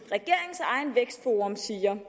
siger